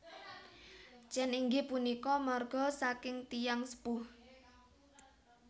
Chen inggih punika marga saking tiyang sepuh